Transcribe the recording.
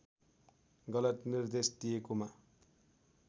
गलत निर्देश दिएकोमा